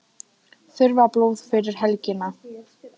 Þurfa blóð fyrir helgina